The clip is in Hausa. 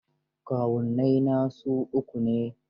Kawunnai na su uku ne.